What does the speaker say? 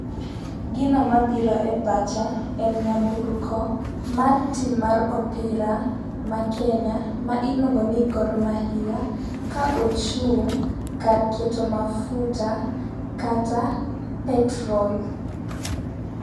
Gino mabiro e pacha en nyamburko mar team mar opira makenya ma iluongo ni Gor mahia ka ochung' kar keto mafuta kata petrol.